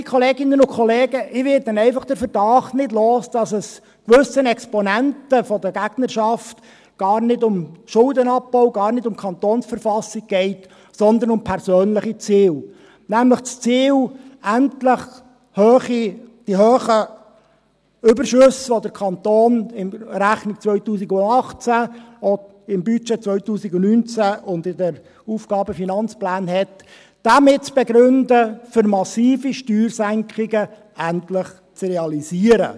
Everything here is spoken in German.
Geschätzte Kolleginnen und Kollegen, ich werde einfach den Verdacht nicht los, dass es gewissen Exponenten der Gegnerschaft gar nicht um Schuldenabbau, gar nicht um die KV geht, sondern um persönliche Ziele, nämlich das Ziel, endlich mit den hohen Überschüssen, die der Kanton in der Rechnung 2018, auch im Budget 2019 und in den Aufgaben- und Finanzplänen (AFP) hat, zu begründen, dass man endlich massive Steuersenkungen realisiert.